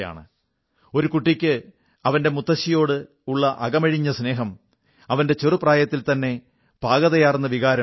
സംവേദനശീലമുള്ള ഒരു കുട്ടിക്ക് അവന്റെ മുത്തശ്ശിയോടുള്ള അകമഴിഞ്ഞ സ്നേഹം അവന്റെ ചെറു പ്രായത്തിൽത്തന്നെ പാകതയാർന്ന വികാരം